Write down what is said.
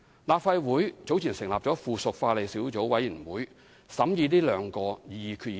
立法會早前成立了附屬法例小組委員會，審議這兩項擬議決議案。